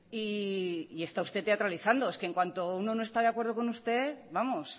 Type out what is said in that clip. y está usted teatralizando es que en cuanto uno no está de acuerdo con usted vamos